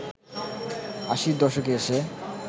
আশির দশকে এসে